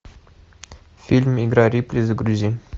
фильм игра рипли загрузи